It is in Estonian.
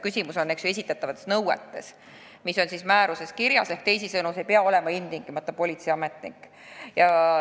Küsimus on esitatavates nõuetes, mis on määruses kirjas, ehk teisisõnu, see inimene ei pea ilmtingimata olema politseiametnik.